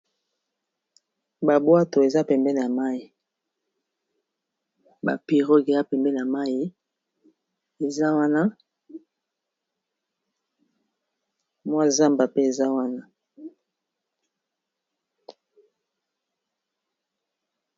Ba bwato eza pembeni ya mayi ba pirogue eza pembeni ya mayi eza wana mwa zamba pe eza wana.